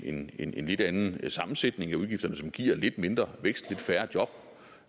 en en lidt anden sammensætning af udgifterne som giver lidt mindre vækst og færre job